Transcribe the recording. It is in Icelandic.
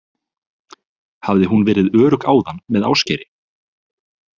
Hafði hún verið örugg áðan með Ásgeiri?